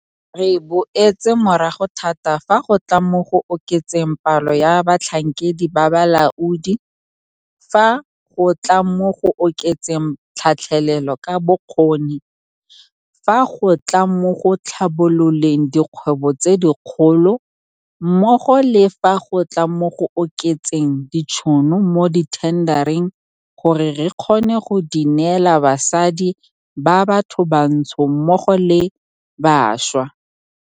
Re boetse morago thata fa go tla mo go oketseng palo ya batlhankedi ba balaodi, fa go tla mo go oketseng tlhatlhelelo ka bokgoni, fa go tla mo go tlhabololeng dikgwebo tse dikgolo mmogo le fa go tla mo go oketseng ditšhono mo dithendareng gore re kgone go di neela basadi ba bathobantsho mmogo le bašwa.